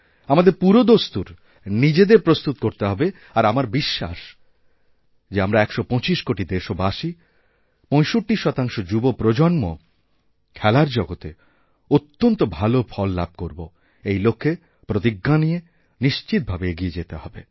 আমাদের পুরোদস্তুরনিজেদের প্রস্তুত করতে হবে আর আমার বিশ্বাস যে আমরা ১২৫ কোটি দেশবাসী ৬৫ শতাংশযুবপ্রজন্ম খেলার জগতে অত্যন্ত ভালো ফল লাভ করব এই লক্ষে প্রতিজ্ঞা নিয়ে নিশ্চিতভাবেএগিয়ে যেতে হবে